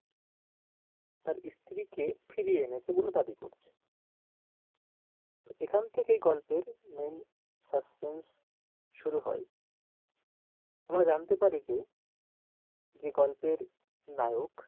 তার স্ত্রীকে ফিরিয়ে এনেছে বলে দাবি করছে এখান থেকেই গল্পের main suspense শুরু হয় আমরা জানতে পারি যে যে গল্পের নায়ক,